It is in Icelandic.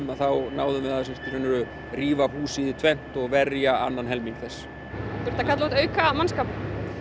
náðum við að rífa húsið í tvennt og verja annan helming þess þurfti að kalla út auka mannskap